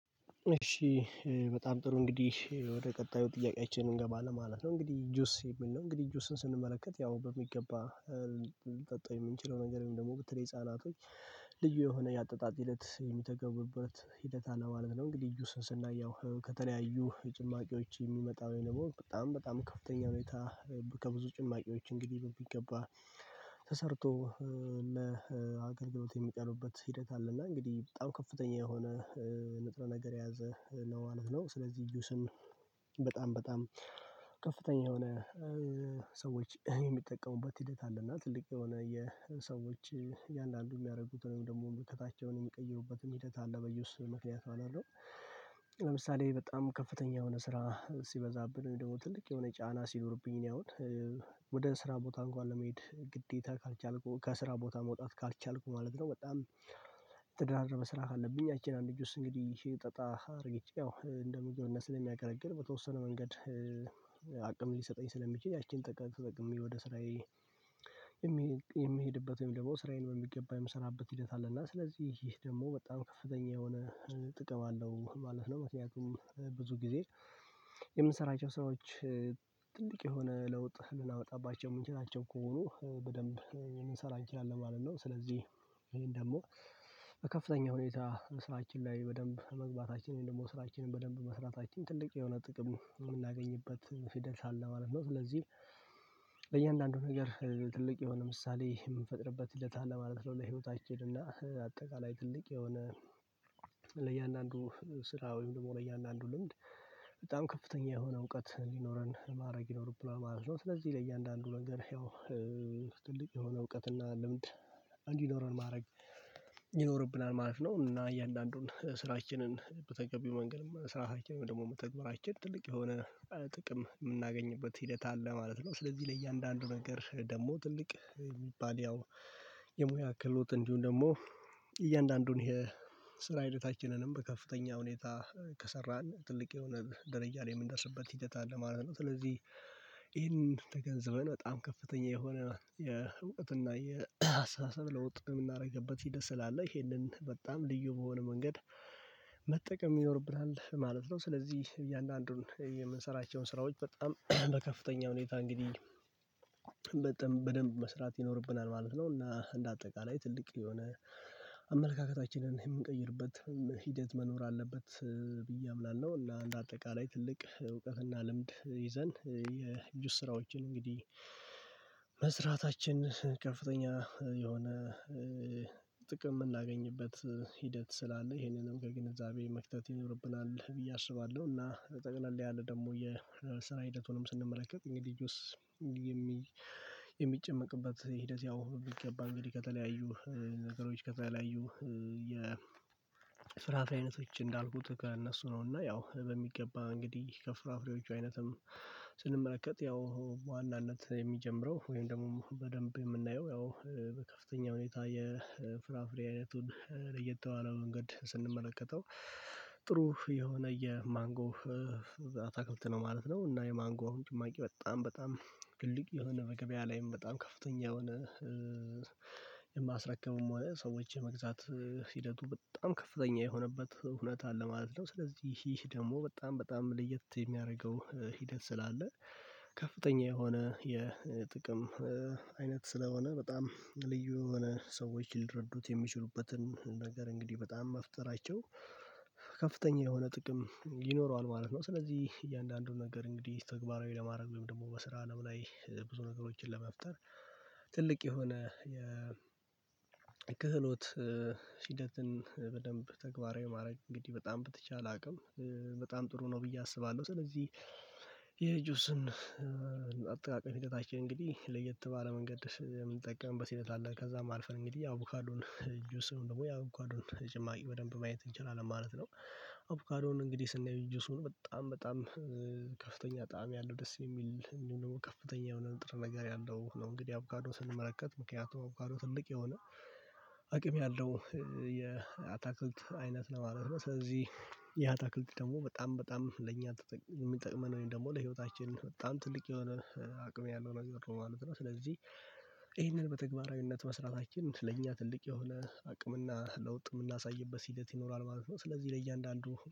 እሺ በጣም ጥሩ እንግዲህ ወደ ቀጣዩ ጥያቄያችን እንገባለን ማለት ነው። እንግዲህ ጁስ የሚል ነው እንግዲህ ጁስን ስንመለከት ያው በሚገባ ልጠጣ የምንችለው ነገር ደግሞ በተለይ ህፃናቶች ልዩ የሆነ ያጠጣጥ ሂደት የሚጠቀሙበት ሂደት አለ ማለት ነው። እንግዲህ ጁስን ስናየው ከተለያዩ ጭማቂዎች የሚመጣው ይሄ ነው። በጣም በጣም ከፍተኛ ሁኔታ ከብዙ ጭማቂዎች እንግዲህ በሚገባ ተሰርቶ ለአገልግሎት የሚቀርብበት ሂደት አለ እና እንግዲህ በጣም ከፍተኛ የሆነ ንጥረ ነገር የያዘ ነው ማለት ነው። ስለዚህ ጁስን በጣም ከፍተኛ የሆነ ሰዎች የሚጠቀሙበት ሂደት አለና ትልቅ የሆነ የሰዎች እያንዳንዱ የሚያደርጉትን ደግሞ ሙቀታቸውን የሚቀይሩበትን ሂደት አለ በጁስ ምክንያት ማለት ነው። ለምሳሌ በጣም ከፍተኛ የሆነ ስራ ሲበዛብን ደግሞ ትልቅ የሆነ ጫና ሲኖርብኝ እኔ አሁን ወደ ስራ ቦታ እንኳን ለመሄድ ግዴታ ካልቻልኩ ከስራ ቦታ መውጣት ካልቻልኩ ማለት ነው። በጣም የተደራረበ ስራ ካለብኝ ያቺን አንድ ጁስ እንግዲህ ጠጣ አድርጌ እንደ ሙያው እነሱን የሚያቀረቅር በተወሰነ መንገድ አቅም ሊሰጠኝ ስለሚችል ያቺን ተጠቅሜ ወደ ስራዬ የሚሄድበት ወይም ደግሞ ስራዬን በሚገባ የምሰራበት ሂደት አለና ስለዚህ ይህ ደግሞ በጣም ከፍተኛ የሆነ ጥቅም አለው ማለት ነው። ምክንያቱም ብዙ ጊዜ የምንሰራቸው ሰራዎች ትልቅ የሆነ ለውጥ ልናመጣባቸው የምንችላቸው ከሆኑ በደንብ ልንሰራ እንችላለን ማለት ነው። ስለዚህ ይሄን ደግሞ በከፍተኛ ሁኔታ ስራችን ላይ በደንብ መግባታችንን ደግሞ ስራችንን በደንብ መስራታችን ትልቅ የሆነ ጥቅም የምናገኝበት ፊደንስ አለ ማለት ነው። ስለዚህ በእያንዳንዱ ነገር ትልቅ የሆነ ምሳሌ የምንፈጥርበት ሂደት አለ ማለት ነው። ለህይወታችን አጠቃላይ ትልቅ የሆነ ለእያንዳንዱ ስራ ወይም ደግሞ ለእያንዳንዱ ልምድ በጣም ከፍተኛ የሆነ እውቀት ሊኖረን ማድረግ ይኖርብናል ማለት ነው። ስለዚህ ለእያንዳንዱ ነገር ያው የሆነ እውቀትና ልምድ እንዲኖረን ማድረግ ይኖርብናል ማለት ነው። እና እያንዳንዱን ስራችንን በተገቢው መንገድም መሰረታችንን ደግሞ መተግበራችን ትልቅ የሆነ ጥቅም የምናገኝበት ሂደት አለ ማለት ነው። ስለዚህ ለእያንዳንዱ ነገር ደግሞ ትልቅ የሚባል ያው የሙያ ክህሎት እንዲሁም ደግሞ እያንዳንዱን ይሄ ስራ ሂደታችንንም በከፍተኛ ሁኔታ ከሰራን ትልቅ የሆነ ደረጃ ላይ የምንደርስበት ሂደት አለ ማለት ነው። ስለዚህ ገንዘብን በጣም ከፍተኛ የሆነ የእውቀት እና የአስተሳሰብ ለውጥ የምናደርግበት ሂደት ስላለ ይሄንን በጣም ልዩ በሆነ መንገድ መጠቀም ይኖርብናል ማለት ነው። ስለዚህ እያንዳንዱን የምንሰራቸውን ስራዎች በጣም በከፍተኛ ሁኔታ እንግዲህ በደንብ መስራት ይኖርብናል ማለት ነው። እና እንደ አጠቃላይ ትልቅ የሆነ አመለካከታችንን የምንቀይርበት ሂደት መኖር አለበት ብዬ አምናለሁ። እና አንድ አጠቃላይ ትልቅ እውቀትና ልምድ ይዘን የጁስ ስራዎችን እንግዲህ መስራታችን ከፍተኛ የሆነ ጥቅም ምናገኝበት ሂደት ስላለ ይሄንንም ከግንዛቤ መክተት ይኖርብናል ብዬ አስባለሁ። እና ጠቅለል ያለ ደግሞ የስራ ሂደቱንም ስንመለከት እንግዲህ ጁስ የሚጨመቅበት ሂደት ያው ቢገባ እንግዲህ ከተለያዩ ነገሮች ከተለያዩ የ ፍራፍሬ አይነቶች እንዳልኩት ከእነሱ ነው እና ያው በሚገባ እንግዲህ ከፍራፍሬዎቹ አይነትም ስንመለከት ያው በዋናነት የሚጀምረው ወይም ደግሞ በደንብ የምናየው ያው በከፍተኛ ሁኔታ የፍራፍሬ አይነቱን ለየት ባለ መንገድ ስንመለከተው ጥሩ የሆነ የማንጎ አታክልት ነው ማለት ነው። እና የማንጎ አሁን ጭማቂ በጣም በጣም ትልቅ የሆነ በገበያ ላይም በጣም ከፍተኛ የሆነ የማስረከቡም ሰዎች የመግዛት ሂደቱ በጣም ከፍተኛ የሆነበት ሁኔታ አለ ማለት ነው። ስለዚህ ይህ ደግሞ በጣም በጣም ለየት የሚያደርገው ሂደት ስላለ ከፍተኛ የሆነ የጥቅም አይነት ስለሆነ በጣም ልዩ የሆነ ሰዎች ሊረዱት የሚችሉበትን ነገር እንግዲህ በጣም መፍጠራቸው ከፍተኛ የሆነ ጥቅም ይኖረዋል ማለት ነው። ስለዚህ እያንዳንዱን ነገር እንግዲህ ተግባራዊ ለማድረግ ወይም ደግሞ በስራ አለም ላይ ብዙ ነገሮችን ለመፍጠር ትልቅ የሆነ የክህሎት ሂደትን በደንብ ተግባራዊ ማድረግ እንግዲህ በጣም በተቻለ አቅም በጣም ጥሩ ነው ብዬ አስባለሁ። ስለዚህ የጁስን አጠቃቀኝ ሂደታችን እንግዲህ ለየት ባለ መንገድ የምንጠቀምበት ሲል አለ ከዛም አልፈን እንግዲህ ያው አቮካዶን ጁስም ደግሞ ያው አቮካዶን ጭማቂ በደንብ ማየት እንችላለን ማለት ነው። አቮካዶን እንግዲህ ስናይ ጁሱን በጣም በጣም ከፍተኛ ጣዕም ያለው ደስ የሚል እንዲሁም ደግሞ ከፍተኛ የሆነ ጥረ ነገር ያለው ነው። እንግዲህ አብጋዶ ስንመለከት ምክንያቱም አቮጋዶ ትልቅ የሆነ አቅም ያለው የአታክልት አይነት ነው ማለት ነው። ስለዚህ የአታክልት ደግሞ በጣም በጣም ለእኛ የሚጠቅመን ደግሞ ለህይወታችን በጣም ትልቅ የሆነ አቅም ያለው ነው የሚጠራው ማለት ነው። ስለዚህ ይሄንን በተግባራዊነት መስራታችን ለእኛ ትልቅ የሆነ አቅምና ለውጥ የምናሳይበት ሂደት ይኖራል ማለት ነው። ስለዚህ ለእያንዳንዱ